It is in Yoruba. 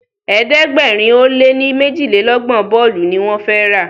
ẹ̀ẹ́dẹ̀gbẹ̀rin o lẹ ní mejilelogbon bóòlù ní wón fè rá.